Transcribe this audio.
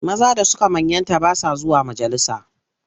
Maza da suka manyanta ba sa zuwa majalisa.